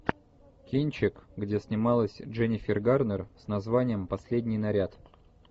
кинчик где снималась дженнифер гарнер с названием последний наряд